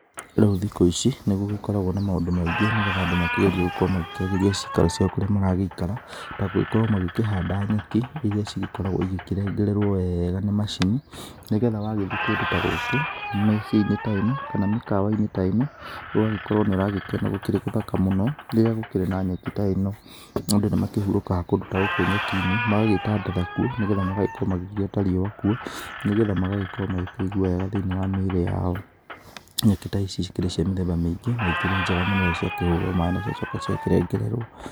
Rĩu thikũ ici, nĩgũgĩkoragwo na maũndũ maingĩ, nĩgetha andũ makĩgerie gũkorwo magĩkĩagĩaria ciikaro ciao kũrĩa maragĩikara, ta gũgĩkorwo magĩkĩhanda nyeki, iria cigĩkoragwo igĩkĩrengererwo wega nĩ macini, nĩgetha wagĩthiĩ kũndũ ta gũkũ miciĩ-inĩ ta ĩno, kana mĩkawa-inĩ ta ĩno, ũgagĩkorwo nĩũragĩkĩona gũkĩrĩ gũthaka mũno, rĩrĩa gũkĩrĩ na nyeki ta ĩno, andũ nĩ makĩhuurũkaga kũndũ ta gũkũ nyeki-inĩ, magagĩtandatha kuo, nĩgetha magagĩkorwo magĩgĩota riũa kuo, nĩgetha magagĩkorwo magĩkĩigua wega thĩiniĩ wa mĩĩrĩ yao. Nyeki ta ici cikĩrĩ cia mĩthemba mĩingĩ na ikĩrĩ njega mũno rĩrĩa ciakĩhũrwo maĩ na ciacoka ciakĩrengererwo.